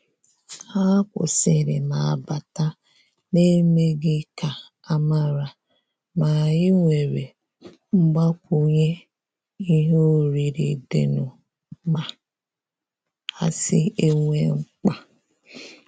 Hà kwụ́sị́rị̀ mà bátà n’èmèghị́ ká ámàrà, mà ànyị́ nwéré mgbàkwùnyé ìhè órírí dì nụ́, mà àsị́ nà é nwé mkpá.